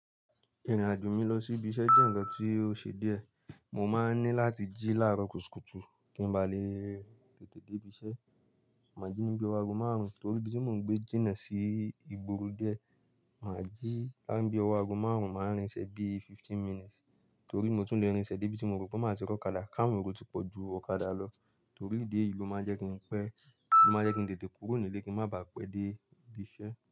Ìrìn-àjò mi lọ sí ibi iṣẹ́ jẹ́ ǹkan tí ó ṣe díẹ̀. Mo máa ń ní láti jí láaro kùtùkutu kín ba lè se Màá jí níbi ago márùn-ún torí ibi tí mo ń gbé jìnnà sí Igbóro dié, màá jí ka ni bí ọwọ̀ ago márùn-ún, màá rìn ṣẹ bí fifteen minutes torí mo tún le rìn ṣẹ dé ibi tí mo ro pé màá ti ri ọ̀kadà kawon ero tí pọ̀ju ọ̀kadà lọ. Torí idi eyii ó máa n jẹ́ kín pẹ́, o máa jẹ́ kín tètè kúrò nílé kíń má baà pẹ́ dé ibi iṣẹ́